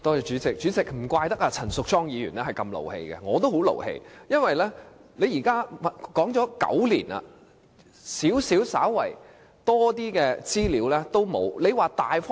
主席，難怪陳淑莊議員如此動氣，我也十分生氣，因為已談了9年，但稍為多一點的資料也不能提供。